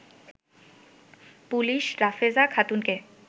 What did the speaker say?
police রাফেজা খাতুনকে